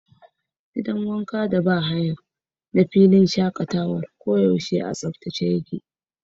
Gidan wanka a filin shakatawa koyaushe yana da tsabta.